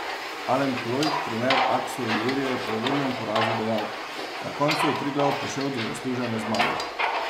Alen Ploj, trener Akson Ilirije, je po uvodnem porazu dejal: "Na koncu je Triglav prišel do zaslužene zmage.